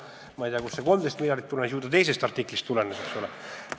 Ma ei tea, kust see 13 miljardit tulenes, ju ta mõnest teisest artiklist tulenes, eks ole.